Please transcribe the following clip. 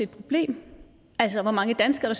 problem altså hvor mange danskere